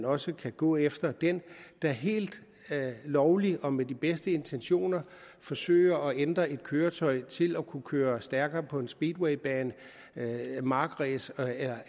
også kan gå efter den der helt lovligt og med de bedste intentioner forsøger at ændre et køretøj til at kunne køre stærkere på en speedwaybane køre markræs